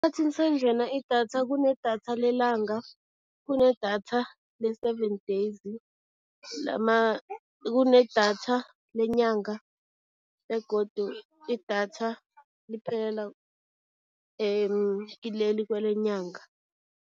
Sanjena idatha, kune-datha lelanga, kune-datha le-seven days, kune-datha lenyanga begodu idatha liphelela kileli kwelenyanga.